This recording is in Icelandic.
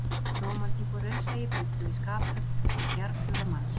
Rómantík og raunsæi bjuggu í skaphöfn þessa djarfhuga manns